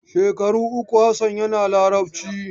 Shekaru uku Hassan yana Larabci.